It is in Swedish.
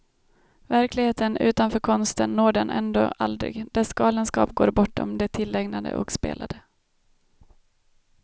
Verkligheten utanför konsten når den ändå aldrig, dess galenskap går bortom det tillägnade och spelade.